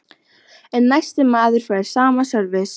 En næsti maður fær sama sörvis.